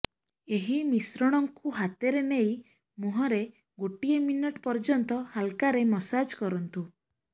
ଏହି ମିଶ୍ରଣଙ୍କୁ ହାତରେ ନେଇ ମୁହଁରେ ଗୋଟେ ମିନିଟ ପର୍ଯ୍ୟନ୍ତ ହାଲକାରେ ମସାଜ କରନ୍ତୁ